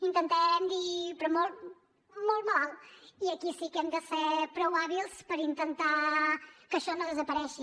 intentarem dir però molt molt malalt i aquí sí que hem de ser prou hàbils per intentar que això no desaparegui